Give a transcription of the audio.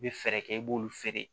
I bɛ fɛɛrɛ kɛ i b'olu feere